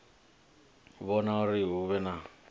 vhona uri hu vhe na